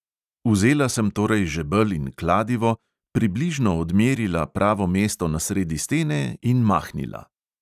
Vzela sem torej žebelj in kladivo, približno odmerila pravo mesto na sredi stene – in mahnila.